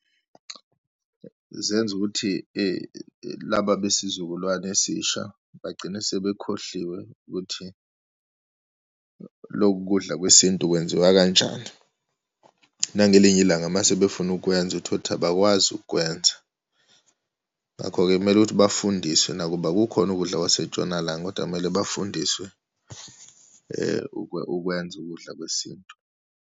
Zenza ukuthi laba besizukulwane esisha bagcine sebekhohliwe ukuthi loku kudla kwesintu kwenziwa kanjani. Nangelinye ilanga uma sebefuna ukukwenza, uthole ukuthi abakwazi ukukwenza. Ngakho-ke kumele ukuthi bafundiswe nakuba kukhona ukudla kwaseNtshonalanga kodwa kumele bafundiswe ukwenza ukudla kwesintu.